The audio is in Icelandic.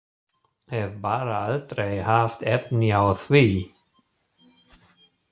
Hef bara aldrei haft efni á því.